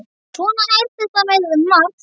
Svona er þetta með margt.